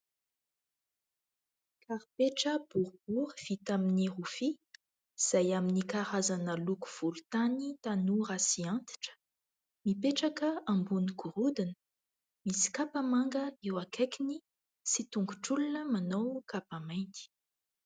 Karipetra boribory vita amin'ny rofia izay amin'ny karazana loko volontany tanora sy antitra ; mipetraka ambony gorodona, misy kapa manga eo akaikiny sy tongotr'olona manao kapa mainty.